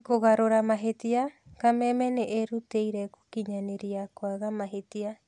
Kũgarũra mahĩtia: Kameme nĩĩrutĩire gũkinyanĩria kwaga mahĩtia.